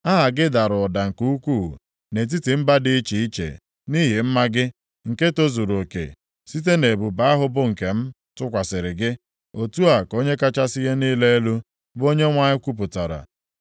Aha gị dara ụda nke ukwuu nʼetiti mba dị iche iche nʼihi mma gị, nke zuruoke site nʼebube ahụ bụ nke m tụkwasịrị gị. Otu a ka Onye kachasị ihe niile elu, bụ Onyenwe anyị kwupụtara.